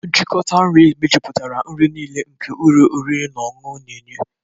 Nchịkọta nri mejuputara nri niile nke ụlọ oriri na ọṅụṅụ na-enye.